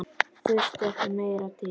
Þurfti ekki meira til.